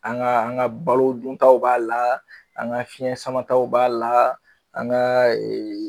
An ga an ga balo duntaw b'a la an ga fiɲɛ samataw b'a la an ga eee